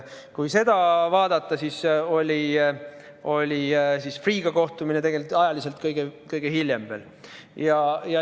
Kui vaadata, siis oli Freeh'ga kohtumine ajaliselt kõige hiljem.